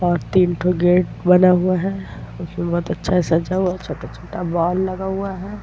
और तीनठो गेट बना हुआ हैं उसमें बहुत अच्छा सजा हुआ छोटा-छोटा बाल लगा हुआ है ।